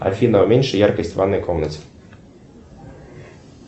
афина уменьши яркость в ванной комнате